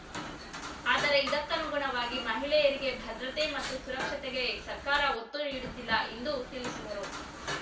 ಆದರೆ ಇದಕ್ಕಾನುಗುಣವಾಗಿ ಮಹಿಳೆಯರಿಗೆ ಭದ್ರತೆ ಮತ್ತು ಸುರಕ್ಷತೆಗೆ ಸರ್ಕಾರ ಒತ್ತು ನೀಡುತ್ತಿಲ್ಲ ಇಂದು ತಿಳಿಸಿದರು